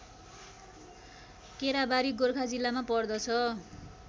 केराबारी गोर्खा जिल्लामा पर्छ